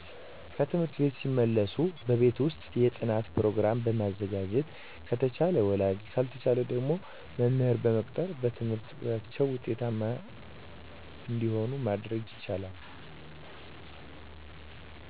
ከትምህርት ቤት ሲመለሱ በቤት ውስጥ የጥናት ፕሮገራም በመዘጋጀት አተቻለ ወላጆች ካልተቻለ ደግሞ መምህር በመቅጠር በትምህርታቸው ውጤታማ እንደመሆኑ ማድረግ ይቻላል